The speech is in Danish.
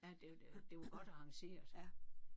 Ja det det det var godt arrangeret